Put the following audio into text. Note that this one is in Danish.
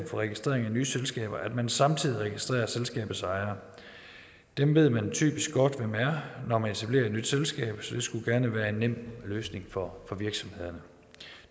registrering af nye selskaber at man samtidig registrerer selskabets ejere dem ved man typisk godt hvem er når man etablerer et nyt selskab så det skulle gerne være en nem løsning for virksomhederne